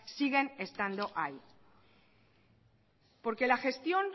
siguen estando ahí porque la gestión